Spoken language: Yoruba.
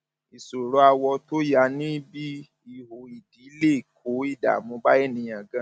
ìṣòro awọ tó ya níbi ihò ìdí lè kó ìdààmú bá ènìyàn ganan